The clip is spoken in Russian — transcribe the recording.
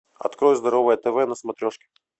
открой здоровое тв на смотрешке